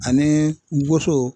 Ani woso.